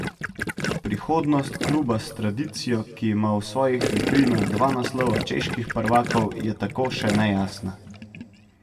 Prihodnost kluba s tradicijo, ki ima v svojih vitrinah dva naslova čeških prvakov, je tako še nejasna.